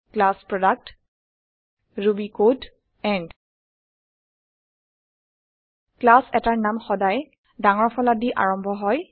class product Ruby code and class এটাৰ নাম সদায় ডাঙৰ ফলা দি আৰম্ভ হয়